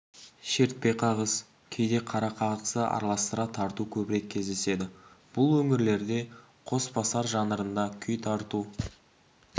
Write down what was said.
шертпе қағыс кейде қара қағысты араластыра тарту көбірек кездеседі бұл өңірлерде қосбасар жанрында күй тарту